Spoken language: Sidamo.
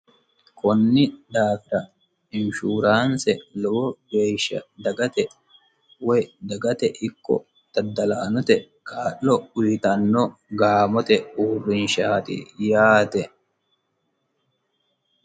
kunni daafira inshuuraanse lowo geeshsha dagate woy dagate ikko daddalaanote kaa'lo uyitanno gaamote uurrinshaati yaate